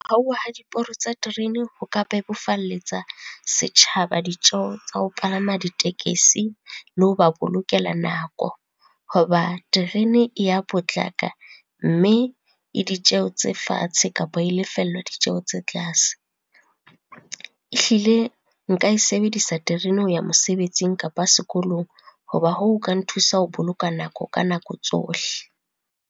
Hauwa ha diporo tsa terene ho ka bebofalletsa setjhaba ditjeho tsa ho palama ditekesi le ho ba bolokela nako, ho ba terene e ya potlaka mme e ditjeho tse fatshe kapa e lefellwa ditjeho tse tlase. Ehlile nka e sebedisa terene ho ya mosebetsing kapa sekolong, ho ba hoo ka nthusa ho boloka nako, ka nako tsohle.